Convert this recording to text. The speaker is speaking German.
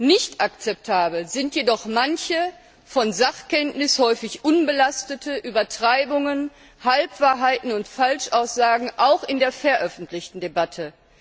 Nicht akzeptabel sind jedoch manche von Sachkenntnis häufig unbelasteten Übertreibungen, Halbwahrheiten und Falschaussagen, auch in der veröffentlichten Debatte.